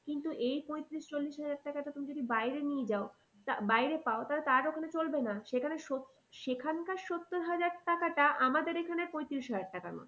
কিন্তু এই পঁয়ত্রিশ চল্লিশ হাজার টাকাটা তুমি যদি বাইরে নিয়ে যাও বাইরে পাও ওখানে চলবে না সেখানে সেখানকার সত্তর হাজার টাকাটা আমাদের এইখানে পঁয়ত্রিশ হাজার টাকা